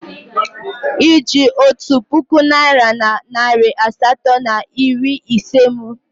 Oji otu puku naira na narị asatọ na iri ise m.